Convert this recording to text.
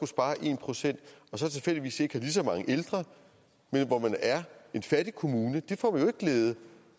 spare en procent og så tilfældigvis ikke har lige så mange ældre men hvor man er en fattig kommune der får glæde